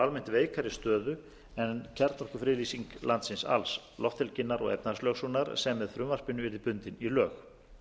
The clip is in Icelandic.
almennt veikari stöðu en kjarnorkufriðlýsing landsins alls lofthelginnar og efnahagslögsögunnar sem með frumvarpinu yrði bundin í lög